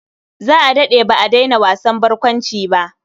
Za a daɗe ba a daina wasan barkwanci ba.